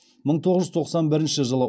мың тоғыз жүз тоқсан бірінші жылы